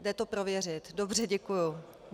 Jde to prověřit, dobře, děkuji .